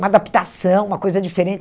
Uma adaptação, uma coisa diferente.